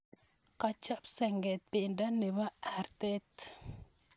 Kachop senget pendo nebo artet